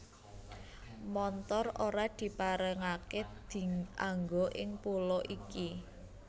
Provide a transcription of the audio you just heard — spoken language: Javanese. Montor ora diparengaké dianggo ing pulo iki